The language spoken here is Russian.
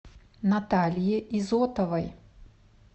наталье изотовой